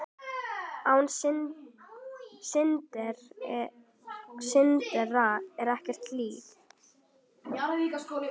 Án syndar er ekkert líf.